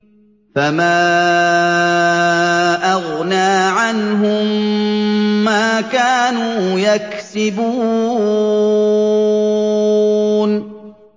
فَمَا أَغْنَىٰ عَنْهُم مَّا كَانُوا يَكْسِبُونَ